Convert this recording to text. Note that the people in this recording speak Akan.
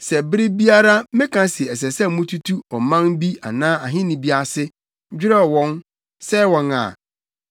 Sɛ bere biara meka se ɛsɛ sɛ wotutu ɔman bi anaa ahenni bi ase, dwerɛw wɔn, sɛe wɔn a,